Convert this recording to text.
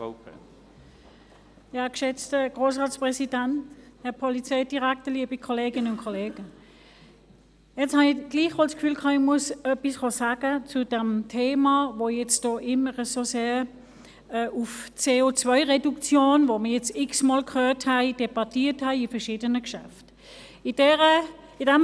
Jetzt hatte ich gleichwohl das Gefühl, noch etwas sagen zu müssen zu diesem Thema, das hier immer so sehr auf CO-Reduktion zielt, das wir jetzt x-mal bei verschiedenen Geschäften gehört und debattiert haben.